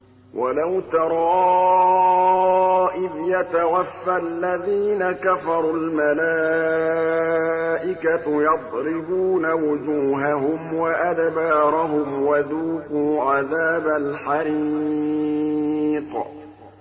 وَلَوْ تَرَىٰ إِذْ يَتَوَفَّى الَّذِينَ كَفَرُوا ۙ الْمَلَائِكَةُ يَضْرِبُونَ وُجُوهَهُمْ وَأَدْبَارَهُمْ وَذُوقُوا عَذَابَ الْحَرِيقِ